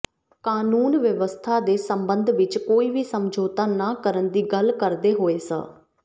ਕਾਨੂੰਨ ਵਿਵਸਥਾ ਦੇ ਸੰਬੰਧ ਵਿੱਚ ਕੋਈ ਵੀ ਸਮਝੌਤਾ ਨਾ ਕਰਨ ਦੀ ਗੱਲ ਕਰਦੇ ਹੋਏ ਸ